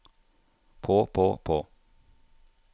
på på på